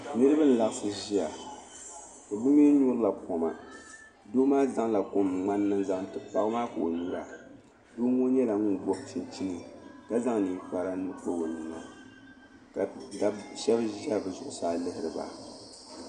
Daa dama n bɔŋɔ ka so ʒɛya ka kpa ninkpara, lala nirimaa gala wɔchi. kaso ye daliya yelɔw, so gba nyala ŋun gbubi ŋmani n nyuri kom,